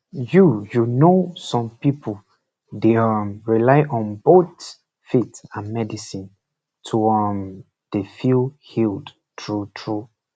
you you know some pipu dey um rely on both faith and medicine to um dey feel healed true true